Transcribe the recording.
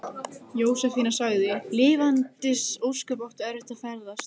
Jósefína sagði: Lifandis ósköp áttu eftir að ferðast.